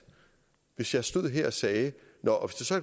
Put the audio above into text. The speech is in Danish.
hvis jeg stod her og sagde nå og